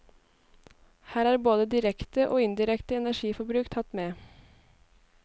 Her er både direkte og indirekte energiforbruk tatt med.